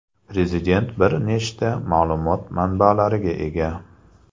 Prezident bir nechta ma’lumot manbalariga ega.